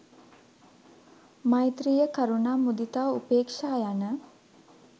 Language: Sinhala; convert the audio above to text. මෛත්‍රිය කරුණා මුදිතා උපේක්ෂා යන